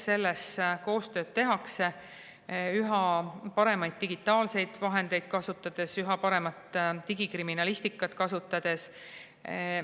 Seda koostööd tehakse üha paremaid digitaalseid vahendeid kasutades, üha paremat digikriminalistikat kasutades.